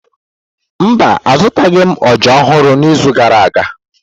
Mba, azụtaghị m ọjà ọhụrụ n'izu gara aga.